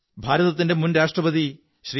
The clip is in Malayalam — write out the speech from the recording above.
ഭാരതത്തിന്റെ മുൻ രാഷ്ട്രശില്പിb ശ്രീ